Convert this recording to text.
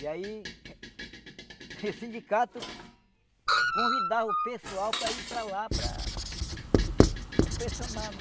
E aí, o sindicato convidava o pessoal para ir para lá, para... pressionava.